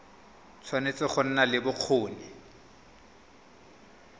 tshwanetse go nna le bokgoni